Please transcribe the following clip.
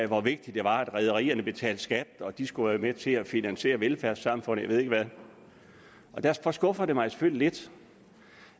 hvor vigtigt det var at rederierne betalte skat og at de skulle være med til at finansiere velfærdssamfundet ved ikke hvad og derfor skuffer det mig selvfølgelig lidt